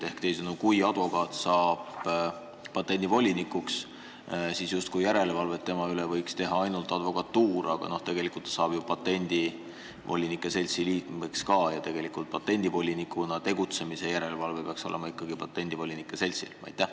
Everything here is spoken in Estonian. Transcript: Ehk teisisõnu, kui advokaat saab patendivolinikuks, siis justkui järelevalvet tema üle võiks teha ainult advokatuur, aga tegelikult ta saab ju patendivolinike seltsi liikmeks ja patendivolinikuna tegutsemise järelevalve peaks olema ikkagi patendivolinike seltsi pädevuses.